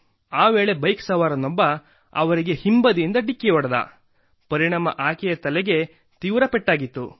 ಆ ವೇಳೆ ಬೈಕ್ ಸವಾರನೊಬ್ಬ ಅವರಿಗೆ ಹಿಂಬದಿಯಿಂದ ಢಿಕ್ಕಿ ಹೊಡೆದ ಪರಿಣಾಮ ಆಕೆಯ ತಲೆಗೆ ತೀವ್ರ ಪೆಟ್ಟಾಗಿತ್ತು